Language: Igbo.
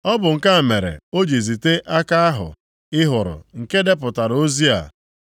Ọ bụ nke a mere o ji zite aka ahụ ị hụrụ, nke depụtara ozi a.